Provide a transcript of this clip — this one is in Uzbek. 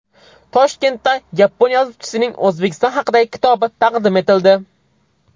Toshkentda yapon yozuvchisining O‘zbekiston haqidagi kitobi taqdim etildi.